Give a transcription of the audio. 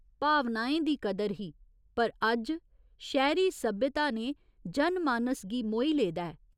भावनाएं दी कदर ही पर अज्ज शैह्‌री सभ्यता ने जन मानस गी मोही लेदा ऐ।